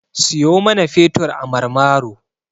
Siyo mana fetur a Marmaro.